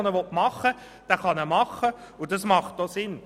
Wer ihn machen will, kann ihn machen, und das ist auch sinnvoll.